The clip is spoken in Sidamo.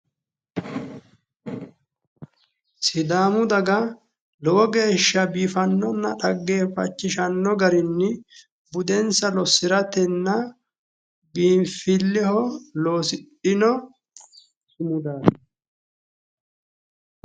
Sidaamu daga lowo geeshsha biifannonna dhaggeeffachishanno garinni budensa lossiratenna biinfilleho loosidhino sumudaati.